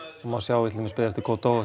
má sjá í til dæmis beðið eftir